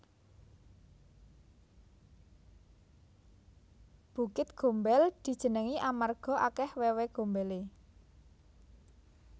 Bukit Gombel dijenengi amarga akeh wewe gombele